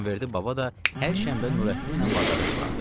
İmamverdi baba da hər şənbə Nurəddinlə bazara çıxardı.